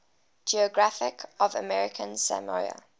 geography of american samoa